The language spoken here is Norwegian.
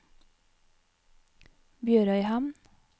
BjørØyhamn